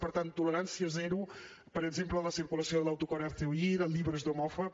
per tant tolerància zero per exemple en la circulació de l’autocar hazte oír llibres d’homòfob